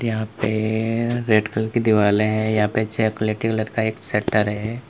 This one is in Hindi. यहां पे रेड कलर की दीवारे है यहां पे चॉकलेटी कलर का एक शटर है।